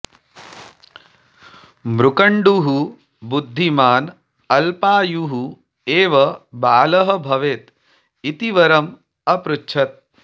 मृकण्डुः बुद्धिमान् अल्पायुः एव बालः भवेत् इति वरम् अपृच्छत्